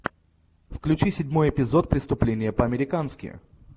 включи седьмой эпизод преступления по американски